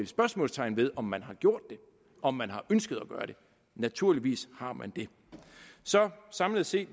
spørgsmålstegn ved om man har gjort det om man har ønsket at gøre det naturligvis har man det så samlet set